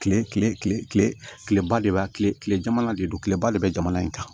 Kile kile kileba de b'a kile kile jamana de don kileba de bɛ jamana in kan